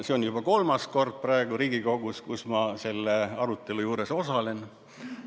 See on juba kolmas kord Riigikogus, kui ma sellel arutelul osalen.